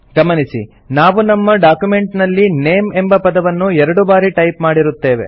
ಗಮನಿಸಿ ನಾವು ನಮ್ಮ ಡಾಕ್ಯುಮೆಂಟ್ ನಲ್ಲಿ ನೇಮ್ ಎಂಬ ಪದವನ್ನು ಎರಡು ಬಾರಿ ಟೈಪ್ ಮಾಡಿರುತ್ತೇವೆ